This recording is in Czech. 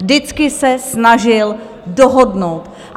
Vždycky se snažil dohodnout.